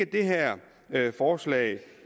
det her forslag